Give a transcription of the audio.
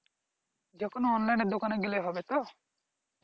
যেকোনো online এর দোকানে গেলে হবে তো?